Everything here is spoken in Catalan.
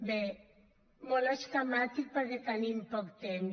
bé molt esquemàticament perquè tenim poc temps